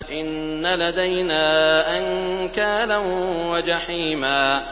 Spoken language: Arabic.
إِنَّ لَدَيْنَا أَنكَالًا وَجَحِيمًا